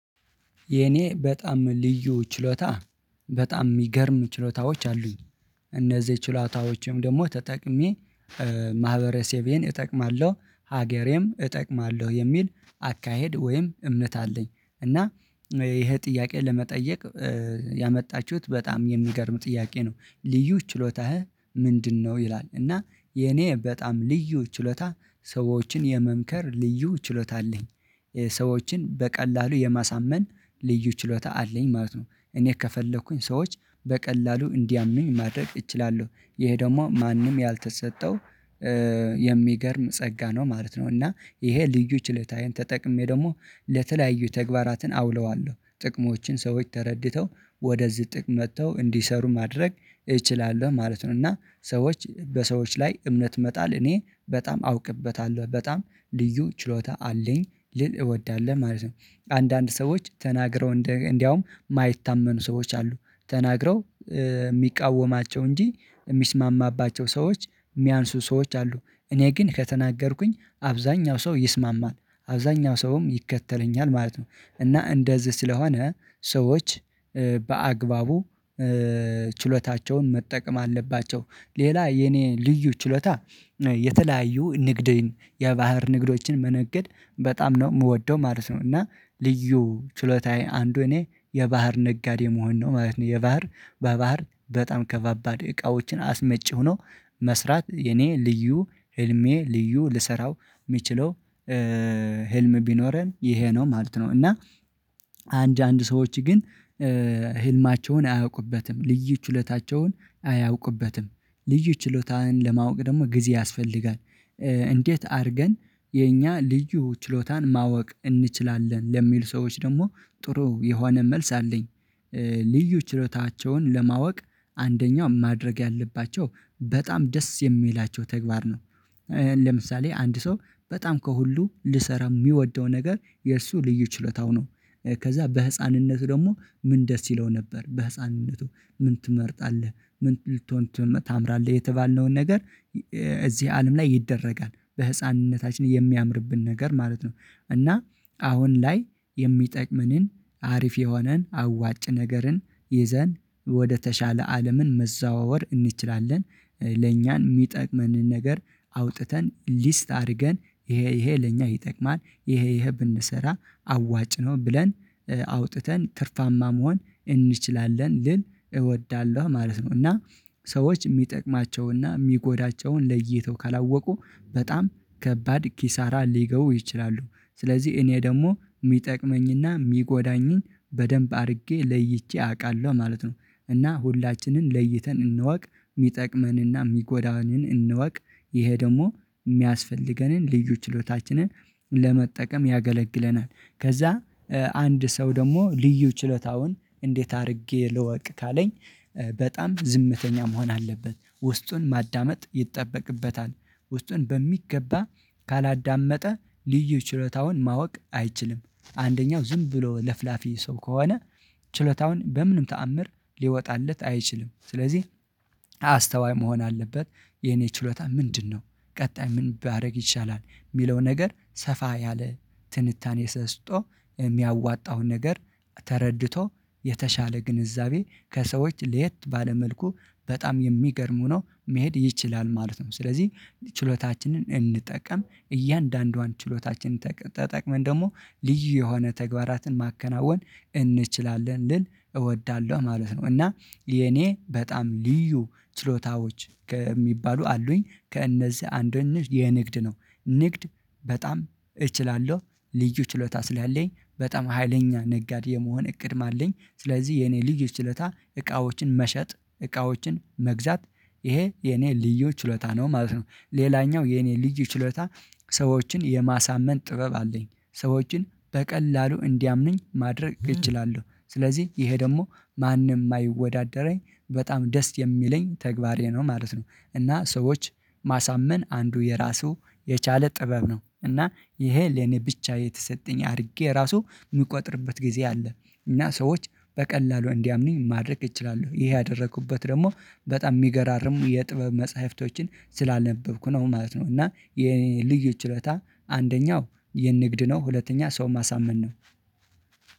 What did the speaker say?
የኔ በጣም ልዩ ችሎታ በጣም የሚገርም ችሎታዎች አሉኝ እነዚህ ችሎታዎችም ደግሞ ተጠቅሜ ማህበረሰቤን እጠቅማለሁ ሀገሬም እጠቅማለሁ የሚል አካሄድ ወይም እምነት አለኝ። እና ይሄ ጥያቄ ለመጠየቅ ያመጣችሁት በጣም የሚገርም ጥያቄ ነው ልዩ ችሎታህ ምንድነው? ይላል እና የኔ በጣም ልዩ ችሎታ ሰዎችን የመምከር ልዩ ችሎታ አለኝ ሰዎችን በቀላሉ የማሳመን ልዩ ችሎታ አለኝ ማለት ነው እኔ ከፈለኩኝ ሰዎች በቀላሉ እንዲያምኑኝ ማድረግ እችላለሁ ይሄ ደግሞ ማንም ያልተሰጠው የሚገርም ጸጋ ነው ማለት ነው። እና ይሄ ልዩ ችለታዬን ተጠቅሜ ደግሞ ለተለያዩ ተግባራትን አውለዋለሁ ጥቅሞችን ሰዎች ተረድተው ወደዚህ ጥቅም መጥተው እንዲሰሩ ማድረግ እችላለሁ ማለት ነው። እና ሰዎች በሰዎች ላይ እምነት መጣል እኔ በጣም አውቅበታለሁ በጣም ልዩ ችሎታ አለኝ ልል እወዳለሁ ማለት ነው። አንዳንድ ሰዎች ተናግረው እንደ እንደውም የማይታመኑ ሰዎች አሉ ተናግረው የሚቃወማቸው እንጂ የሚስማማባቸው ሰዎች የሚያንሱ ሰዎች አሉ እኔ ግን ከተናገርኩኝ አብዛኛው ሰው ይስማማል አብዛኛው ሰውም ይከተለኛል ማለት ነው። እና እንደዚህ ስለሆነ ሰዎች በአግባቡ ችሎታቸውን መጠቀም አለባቸው። ሌላ የኔ ልዩ ችሎታ የተለያዩ ንግድ የባህር ንግዶችን መነገድ በጣም ነው የምወደው ማለት ነው። እና ልዩ ችሎታዬ አንዱ እኔ የባህር ነጋዴ መሆን ነው ማለት ነው። የባህር በባህር በጣም ከባባድ እቃዎችን አስመጪሁ ነው። መስራት የኔ ልዩ ህልሜ ልዩ ልሰራው የሚችለው ህልም ቢኖረን ይሄ ነው ማለት ነው። እና አንድ አንድ ሰዎች ግን ህልማቸውን አያውቁበትም ልዩ ችሎታቸውን አያውቁበትም። ልዩ ችሎታህን ለማወቅ ደግሞ ጊዜ ያስፈልጋል። እንዴት አድርገን የኛ ልዩ ችሎታን ማወቅ እንችላለን? ለሚል ሰዎች ደግሞ ጥሩ የሆነ መልስ አለኝ ልዩ ችሎታቸውን ለማወቅ አንደኛው ማድረግ ያለባቸው በጣም ደስ የሚላቸው ተግባር ነው። ለምሳሌ አንድ ሰው በጣም ከሁሉ ሊሰራ የሚወደው ነገር የእርሱ ልዩ ችሎታው ነው። ከዛ በህፃንነቱ ደግሞ ምን ደስ ይለው ነበር በህፃንነቱ ምን ትመርጣለህ? ምን ልትሆን ታምራለህ። የተባልነውን ነገር እዚህ አለም ላይ ይደረጋል በህፃንነታችን የሚያምርብን ነገር ማለት ነው። እና አሁን ላይ የሚጠቅመንን አሪፍ የሆነን አዋጭ ነገርን ይዘን ወደተሻለ አለምን መዘዋወር እንችላለን። ለእኛን የሚጠቅመንን ነገር አውጥተን ሊስት አድርገን ይሄ ይሄ ለኛ ይጠቅማል ይሄ ይሄ ብንሰራ አዋጭ ነው ብለን አውጥተን ትርፋማ መሆን እንችላለን ልል እወዳለሁ ማለት ነው። እና ሰዎች የሚጠቅማቸውን እና የሚጎዳቸውን ለይተው ካላወቁ በጣም ከባድ ኪሳራ ሊገቡ ይችላሉ። ስለዚህ እኔ ደግሞ የሚጠቅመኝና የሚጎዳኝን በደንብ አድርጌ ለይቼ አውቃለሁ ማለት ነው። እና ሁላችንን ለይተን እንወቅ የሚጠቅመንና የሚጎዳንን እንወቅ ይሄ ደግሞ የሚያስፈልገንን ልዩ ችሎታችንን ለመጠቀም ያገለግለናል። ከዛ አንድ ሰው ደግሞ ልዩ ችሎታውን እንዴት አድርጌ ልወቅ ካለኝ? በጣም ዝምተኛ መሆን አለበት ውስጡን ማዳመጥ ይጠበቅበታል ውስጡን በሚገባ ካላዳመጠ ልዩ ችሎታውን ማወቅ አይችልም። አንደኛው ዝም ብሎ ለፍላፊ ሰው ከሆነ ችሎታውን በምንም ተአምር ሊወጣለት አይችልም ስለዚህ አስተዋይ መሆን አለበት። የኔ ችሎታ ምንድነው? ቀጣይ ምን ባደርግ ይሻላል የሚለው ነገር ሰፋ ያለ ትንታኔ ሰጥቶ የሚያዋጣውን ነገር ተረድቶ የተሻለ ግንዛቤ ከሰዎች ሌት ባለ መልኩ በጣም የሚገርሙ ነው መሄድ ይችላል ማለት ነው። ስለዚህ ችሎታችንን እንጠቀም እያንዳንዷን ችሎታችን ተጠቅመን ደግሞ ልዩ የሆነ ተግባራትን ማከናወን እንችላለን ልል እወዳለሁ ማለት ነው። እና የኔ በጣም ልዩ ችሎታዎች ከሚባሉ አሉኝ ከእነዚህ አንድ ሆነሽ የንግድ ነው። ንግድ በጣም እችላለሁ ልዩ ችሎታ ስላለኝ በጣም ሀይለኛ ነጋዴ የመሆን እቅድም አለኝ ስለዚህ የኔ ልዩ ችሎታ እቃዎችን መሸጥ እቃዎችን መግዛት ይሄ የኔ ልዩ ችሎታ ነው ማለት ነው። ሌላኛው የኔ ልዩ ችሎታ ሰዎችን የማሳመን ጥበብ አለኝ ሰዎችን በቀላሉ እንዲያምኑኝ ማድረግ እችላለሁ ስለዚህ ይሄ ደግሞ ማንም የማይወዳደረኝ በጣም ደስ የሚለኝ ተግባሬ ነው ማለት ነው። እና ሰዎች ማሳመን አንዱ የራሱ የቻለ ጥበብ ነው እና ይሄ ለኔ ብቻ የተሰጠኝ አድርጌ ራሱ የምቆጥርበት ጊዜ አለ እና ሰዎች በቀላሉ እንዲያምኑኝ ማድረግ እችላለሁ ይሄ ያደረኩበት ደግሞ በጣም የሚገራርም የጥበብ መጽሐፍቶችን ስላነበብኩ ነው ማለት ነው። እና የ ኔልዩ ችሎታ አንደኛው የንግድ ነው ሁለተኛ ሰው ማሳመን ነው